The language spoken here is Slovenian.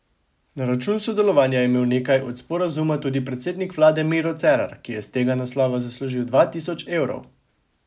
Na račun sodelovanja je imel nekaj od sporazuma tudi predsednik vlade Miro Cerar, ki je s tega naslova zaslužil dva tisoč evrov.